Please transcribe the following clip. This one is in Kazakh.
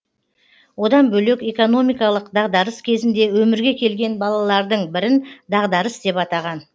одан бөлек экономикалық дағдарыс кезінде өмірге келген балалардың бірін дағдарыс деп атаған